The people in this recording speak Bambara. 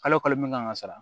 Kalo kalo min kan ka sara